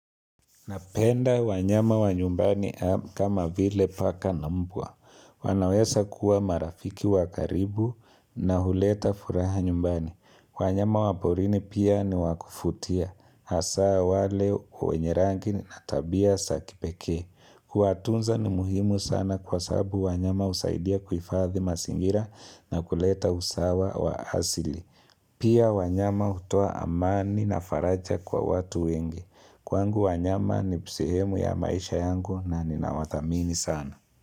Napenda wanyama wa nyumbani kama vile paka na mbwa. Wanaweza kuwa marafiki wakaribu na huleta furaha nyumbani. Wanyama waporini pia ni wakuvutia. Hasaa wale wenye rangi na tabia za kipekee. Huwatunza ni muhimu sana kwasababu wanyama usaidia kuhifadhi mazingira na kuleta usawa wa asili. Pia wanyama utoa amani na faraja kwa watu wenge. Kwangu wanyama ni sehemu ya maisha yangu na ninawathamini sana.